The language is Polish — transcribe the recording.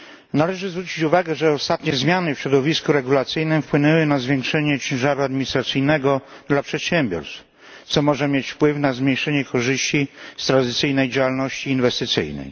Należy zwrócić uwagę, że ostatnie zmiany w środowisku regulacyjnym wpłynęły na zwiększenie ciężaru administracyjnego dla przedsiębiorstw, co może mieć wpływ na zmniejszenie korzyści z tradycyjnej działalności inwestycyjnej.